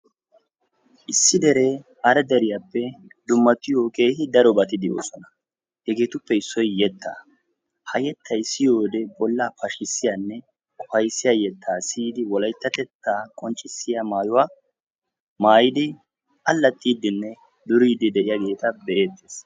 Issi dere hara deriyappe dummatiyo keehi darobati deosona. Hegeetuppe issoy yetta; ha yettay siyiyode bollaa pashkisiyane ufayssiya yetta siyidi wolayttatetta qonccisiya maayuw maayidi allaxidine duriidi bidi deiyagetabe'etees.